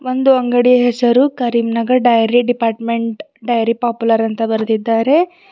ಒಂದು ಅಂಗಡಿಯ ಹೆಸರು Karimnagar dairy department dairy popular ಅಂತ ಬರ್ದಿದ್ದಾರೆ.